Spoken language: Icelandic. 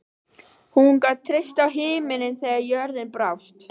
Hún gat treyst á himininn þegar jörðin brást.